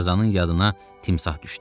Tarzanın yadına timsah düşdü.